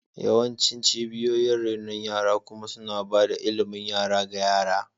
Yawancin cibiyoyin renon yara kuma suna ba da ilimin yara ga yara.